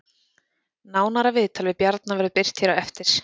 Nánara viðtal við Bjarna verður birt hér á eftir